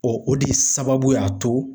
o de sababu y'a to